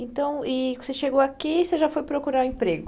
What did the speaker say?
Então, e você chegou aqui e já foi procurar emprego.